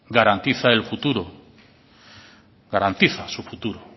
garantiza su futuro garantiza su futuro